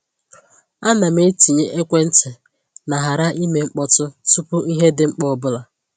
A na m-etinye ekwentị na ‘ghara ime mkpọtụ’ tupu ihe dị mkpa ọbụla.